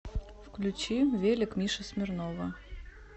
включи велик миши смирнова